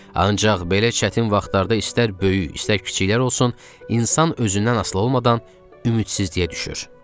Ancaq belə çətin vaxtlarda istər böyük, istər kiçiklər olsun, insan özündən asılı olmadan ümidsizliyə düşür.